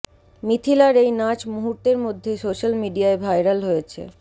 মিথিলার এই নাচ মুহূর্তের মধ্যে সোশ্যাল মিডিয়ায় ভাইরাল হয়েছে